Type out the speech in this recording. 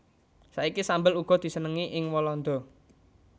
Saiki sambel uga disenengi ing Walanda